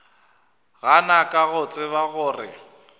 gana ka go tseba gore